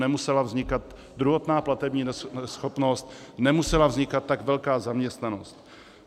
Nemusela vznikat druhotná platební neschopnost, nemusela vznikat tak velká zaměstnanost.